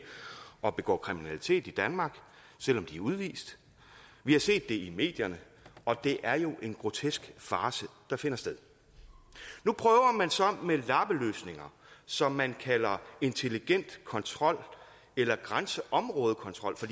og begår kriminalitet i danmark selv om de er udvist vi har set det i medierne og det er jo en grotesk farce der finder sted nu prøver man så med lappeløsninger som man kalder intelligent kontrol eller grænseområdekontrol for